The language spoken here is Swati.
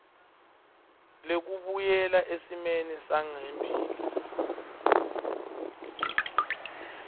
lekubuyela esimeni sangembili